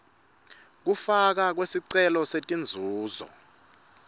kufakwa kwesicelo setinzuzo